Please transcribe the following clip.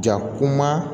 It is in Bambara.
Ja kuma